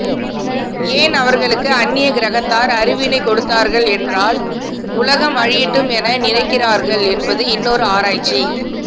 ஏன் அவர்களுக்கு அந்நிய கிரகத்தார் அறிவினை கொடுத்தார்கள் என்றால் உலகம் அழியட்டும் என நினைக்கின்றார்கள் என்பது இன்னொரு ஆராய்ச்சி